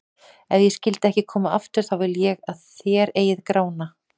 Ef ég skyldi ekki koma aftur, þá vil ég að þér eigið Grána.